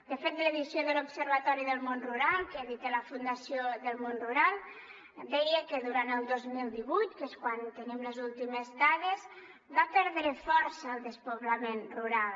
de fet l’edició de l’observatori del món rural que edita la fundació del món rural deia que durant el dos mil divuit que és quan tenim les últimes dades va perdre força el despoblament rural